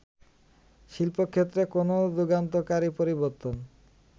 শিল্পক্ষেত্রে কোন যুগান্তকারী পরিবর্তন